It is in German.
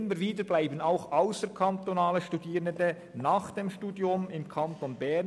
Immer wieder bleiben auch ausserkantonale Studierende nach dem Studium im Kanton Bern.